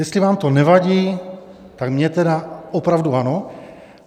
Jestli vám to nevadí, tak mně tedy opravdu ano.